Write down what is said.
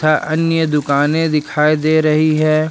तथा अन्य दुकाने दिखाई दे रही है।